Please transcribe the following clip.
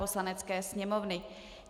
Poslanecké sněmovny